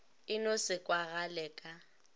e no se kwagale ka